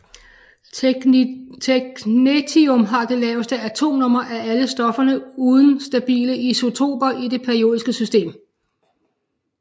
Technetium har det laveste atomnummer af alle stofferne uden stabile isotoper i det periodiske system